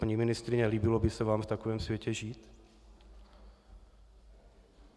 Paní ministryně, líbilo by se vám v takovém světě žít?